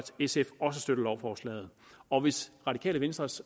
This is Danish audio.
sf også støtter lovforslaget og hvis radikale venstres